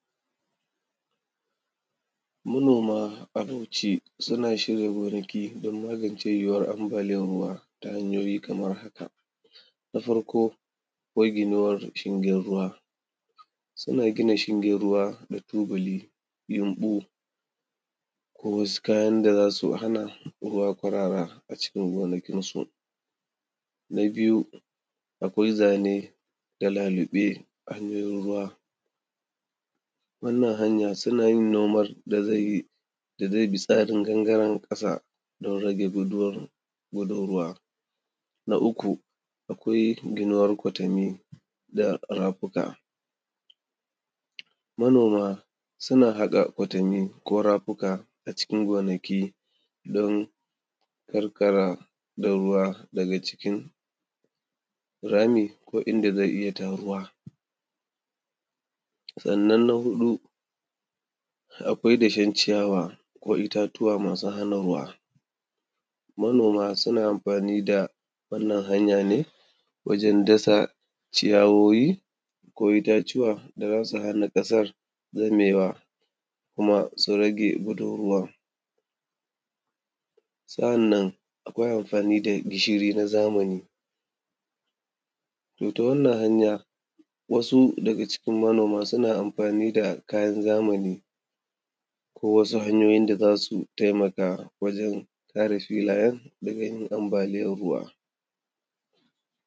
Manoma a Bauchi suna shirin wargi don mangance yiwuwar ambaliyar ruwa ta hanyoyi kamar haka; na farko maginuwar shingin ruwa, suna gina shingin ruwa na tubali, yumɓu ko wasu kayan da za su hana ruwa kwarara acikin gonakinsu. Na biyu, akwai zane na laluɓe hanyoyin ruwa, wannan hanya suna yin noman da zai bi tsarin gangaren ƙasa don rage guduwan, gudun ruwa. Na uku, akwai ginuwar kwatanni da rafuka, manoma suna haƙa kwatanni ko rafuka acikin gonaki don ƙarƙara da ruwa daga cikin rami ko inda zai iya taruwa. Sannan na huɗu, akwai dashen ciyawa ko itatuwa masu hana ruwa, manoma suna amfani da wannan hanya ne wajen dasa ciyawoyi ko itatuwa da zasu hana ƙasar zamewa kuma su rage gudun ruwan. Sa’annan akwai amfani da gishiri na zamani, to ta wannan hanya wasu daga cikin manoma suna amfani da kayan zamani ko wasu hanyoyin da su taimaka wajen ɗaga filayen daga yin ambaliyan ruwa.